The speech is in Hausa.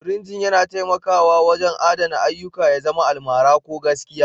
Frinting yana taimakawa wajen adana ayyuka, ya zama almara ko gaskiya.